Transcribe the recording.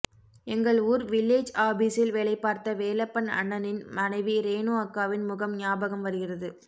எங்கள் ஊர் வில்லேஜ் ஆபீசில் வேலைபார்த்த வேலப்பபன் அண்ணனின் மனைவி ரேணு அக்காவின் முகம் ஞாபகம் வருகிறது